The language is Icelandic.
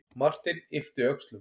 Marteinn yppti öxlum.